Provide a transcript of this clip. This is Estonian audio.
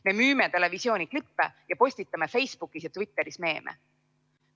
Me müüme televisiooniklippe ja postitame Facebookis ja Twitteris meeme.